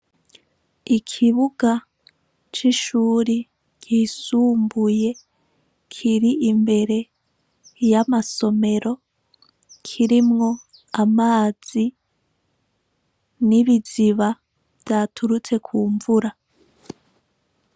Ikibuga c'ishure ry'isumbuye kiri imbere y'amasomero, kirimwo amazi n'ibiziba vyaturutse k'umvura.